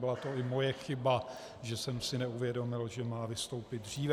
Byla to i moje chyba, že jsem si neuvědomil, že má vystoupit dříve.